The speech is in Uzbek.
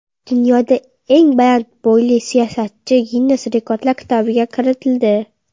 Dunyoda eng baland bo‘yli siyosatchi Ginnes rekordlar kitobiga kiritildi.